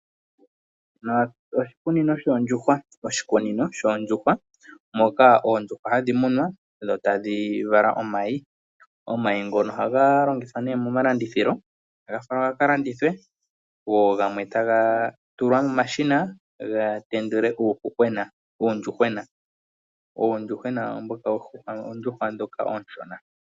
Oshikunino shoondjuhwa moka oondjuhwa hadhi munwa dho tadhi vala imayi. Omayi ngono ohaga landithwa nee moma landithilo. Go gamwe taga tulwa momashina ga tendule uuyuhwena. Uuyuhwena uuyuhwa mboka mboka uushona.